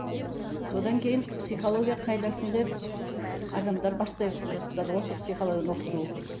содан кейін психология қайдасың деп адамдар бастай бастады ғой сол психологияны оқыту